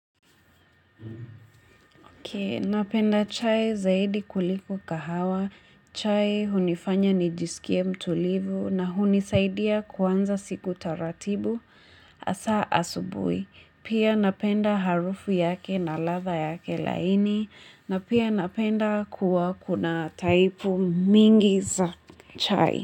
Napenda chai zaidi kuliko kahawa, chai hunifanya nijisikie mtulivu na hunisaidia kuanza siku taratibu hasa asubui. Pia napenda harufu yake na ladha yake laini na pia napenda kuwa kuna taipu mingi za chai.